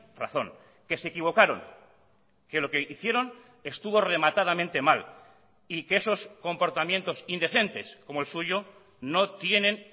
razón que se equivocaron que lo que hicieron estuvo rematadamente mal y que esos comportamientos indecentes como el suyo no tienen